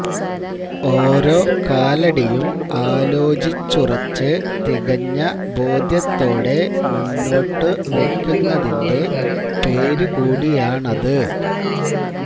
ഓരോ കാലടിയും ആലോചിച്ചുറച്ച് തികഞ്ഞ ബോധ്യത്തോടെ മുന്നോട്ടുവെക്കുന്നതിന്റെ പേരു കൂടിയാണത്